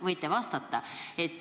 Võite vastata ka kirjalikult.